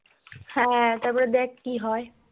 হ্যাঁ তবে দেখ কি হয়